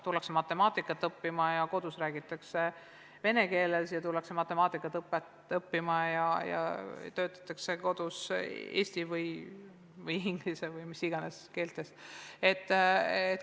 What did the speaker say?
Tullakse matemaatikat õppima kodust, kus räägitakse vene keeles, ja tullakse matemaatikat õppima kodudest, kus töötatakse eesti, inglise või mis tahes muus keeles.